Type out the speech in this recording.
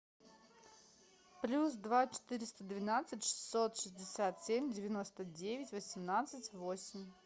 плюс два четыреста двенадцать шестьсот шестьдесят семь девяносто девять восемнадцать восемь